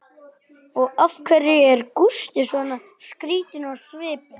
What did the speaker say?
Og af hverju er Gústi svona skrýtinn á svipinn?